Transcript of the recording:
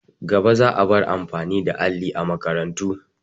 Gaba za a bar amfani da alli a makarantu.